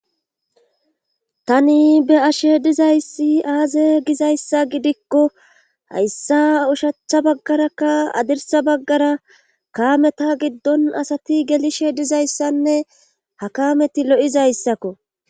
tani be ashe dizayssi aaze gizayssa gidikko hayssa ushachcha baggarakka adirsa baggara kaameta giddon asati gelishe dizayssanne ha kameti lo7izayssakko